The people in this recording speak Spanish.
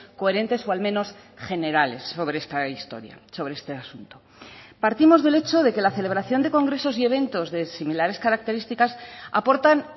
coherentes o al menos generales sobre esta historia sobre este asunto partimos del hecho de que la celebración de congresos y eventos de similares características aportan